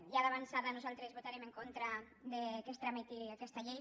ja d’avançada nosaltres votarem en contra que es trameti aquesta llei